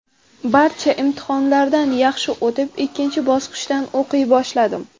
Barcha imtihonlardan yaxshi o‘tib, ikkinchi bosqichdan o‘qiy boshladim.